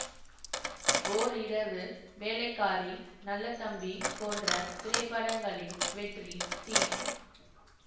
ஓர் இரவு வேலைக்காரி நல்ல தம்பி போன்ற திரைப்படங்களின் வெற்றி தி